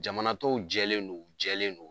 Jamanatɔw jɛlen non, u jɛlen non